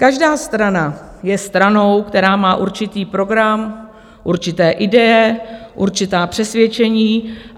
Každá strana je stranou, která má určitý program, určité ideje, určitá přesvědčení.